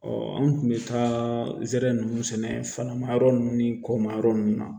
an kun bɛ taa zɛrɛn nunnu sɛnɛ fana ma yɔrɔ nunnu ni kɔma yɔrɔ nunnu na